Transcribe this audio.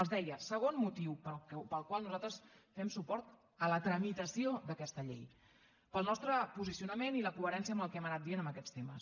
els deia segon motiu pel qual nosaltres fem suport a la tramitació d’aquesta llei pel nostre posicionament i la coherència amb el que hem anat dient en aquests temes